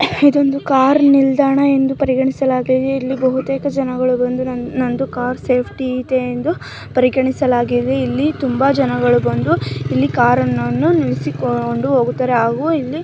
ಇದು ಕಾರ್ ನಿಲ್ದಾಣ ಎಂದು ಪರಿಗಣಿಸಲಾಗಿದೆ ಇಲ್ಲಿ ತುಂಬ ಜನಗಳು ಬಂದು ನಂದು ಕಾರ್ ಸೇಫ್ ಇದೆ ಎಂದು ಇಲ್ಲಿ ತುಂಬಾ ಜನ ಬಂದು ಕಾರ್ ನಿಲ್ಲಿಸಿ ಅವರ ಕಾರು ಬಿಟ್ಟು ಹೋಗುತ್ತಾರೆ. ಹಾಗು ಇಲ್ಲಿ --